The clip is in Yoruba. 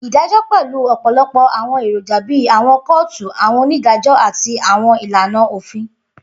Idajọ pẹlu ọpọlọpọ awọn eroja bii awọn kootu, awọn onidajọ, ati awọn ilana ofin.